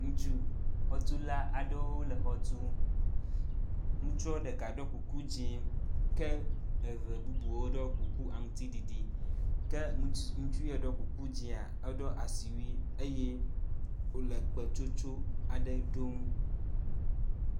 Ŋutsu xɔtula aɖewo le xɔ tum. Ŋutsu ɖeka ɖɔ kuku dzĩ ke eve bubuwo ɖɔ kuku aŋtsiɖiɖi ke ŋutsu yi ke ɖɔ kuku dzĩa eɖɔ asiwui eye wòle kpetsotso aɖe ɖom.